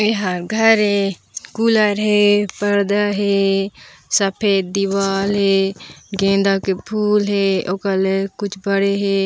एहा घर हे कूलर हे पर्दा हे सफेद दीवाल हे गेंदा के फूल हे ओकल कुछ बड़े हे।